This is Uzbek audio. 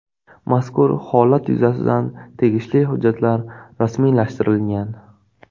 Mazkur holat yuzasidan tegishli hujjatlar rasmiylashtirilgan.